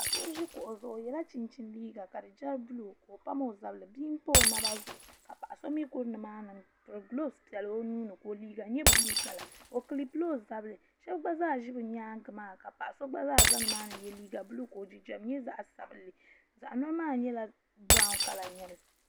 do ʒɛ kuɣ' zuɣ' o yɛla chɛnchɛni liga ka di chɛ bulu ka o pam o zabiri ka be pa o naba zuɣ' ka paɣ' so mi kuri ni maani golibisi bɛla o nuuni ka o liga nyɛ bulu kala o bɛlila o zabiri so gba zaa ʒɛ bi nyɛŋa maa ka paɣ' so gba zaa za ni maani n yɛ liga buluka o jinjam nyɛ zaɣ' sabinli zaɣ' yino maa nyɛla birawu kala